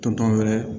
Tɔntɔn wɛrɛ